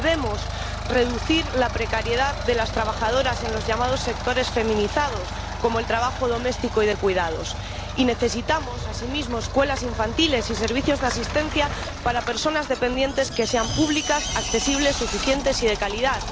Debemos reducir la precariedad de las trabajadoras en los llamados sectores feminizados, como el trabajo doméstico y de cuidados. Y necesitamos, asimismo, escuelas infantiles y servicios de asistencia para personas dependientes, que sean públicas, accesibles, suficientes y de calidad.